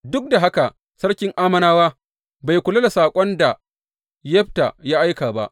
Duk da haka sarkin Ammonawa bai kula da saƙon da Yefta ya aika ba.